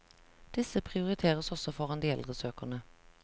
Disse prioriteres også foran de eldre søkerne.